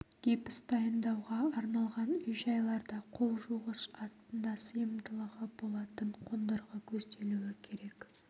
гипс дайындауға арналған үй-жайларда қол жуғыш астында сыйымдылығы болатын қондырғы көзделуі керек